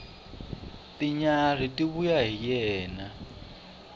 tinyarhi ti vuya hi yena